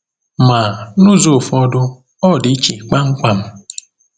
Ma, n’ụzọ ụfọdụ, ọ dị iche kpamkpam.